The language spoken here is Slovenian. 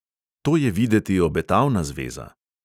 To je videti obetavna zveza!